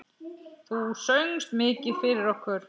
Þú söngst mikið fyrir okkur.